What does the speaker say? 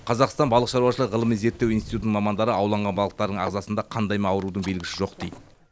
қазақстан балық шаруашылығы ғылыми зерттеу институтының мамандары ауланған балықтардың ағзасында қандай да аурудың белгісі жоқ дейді